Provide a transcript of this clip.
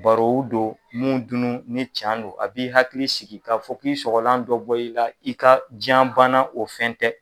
Barow don mun dun nu ni can don a b'i hakili siki k'a fɔ k'i sɔgɔlan dɔ bɔr'i la i ka janbana o fɛn tɛ